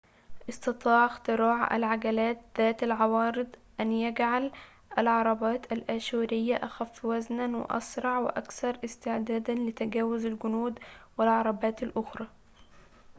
استطاع اختراع العجلات ذات العوارض أن يجعل العربات الآشورية أخفّ وزناً وأسرع وأكثر استعداداً لتجاوُز الجنود والعربات الأخرى